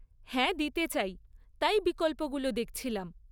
হ্যাঁ দিতে চাই, তাই বিকল্পগুলো দেখছিলাম।